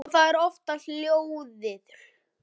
Og það var oftast lóðið.